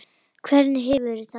Hvernig hefurðu það?